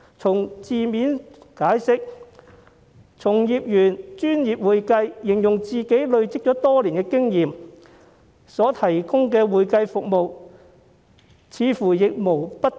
按字面解釋，從業員以"專業會計"形容他以累積多年的經驗提供的會計服務，似乎亦無不當。